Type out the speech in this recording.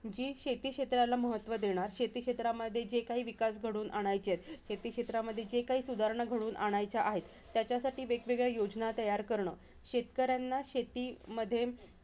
जी शेती क्षेत्राला महत्व देणार, शेती क्षेत्रामध्ये जे काही विकास घडवून आणायच्यां आहेत, शेती क्षेत्रांमध्ये जे काही सुधारणा घडवून आणायच्यां आहेत. त्याच्यासाठी वेगवेगळ्या योजना तयार करणं. शेतकऱ्यांना शेतीमध्ये,